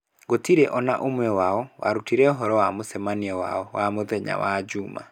Gũtirĩ o na ũmwe wao warutire ũhoro wa mũcemanio wao wa mũthenya wa juuma.